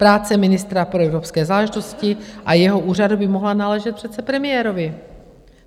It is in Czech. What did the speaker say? Práce ministra pro evropské záležitosti a jeho úřadu by mohla náležet přece premiérovi.